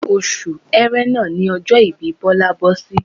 Oṣù ẹrẹ́nà ní ọjọ́ ìbí Bọlá bọ́ sí